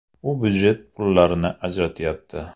U budjet pullarini ajratayapti.